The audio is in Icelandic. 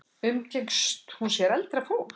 Umgengst hún sér eldra fólk?